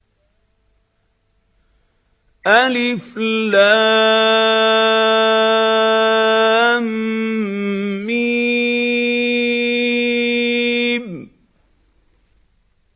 الم